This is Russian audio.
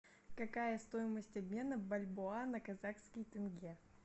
какая стоимость обмена бальбоа на казахский тенге